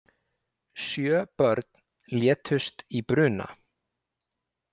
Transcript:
Sjö börn létust í bruna